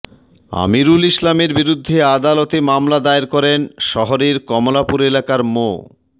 আমিরুল ইসলামের বিরুদ্ধে আদালতে মামলা দায়ের করেন শহরের কমলাপুর এলাকার মো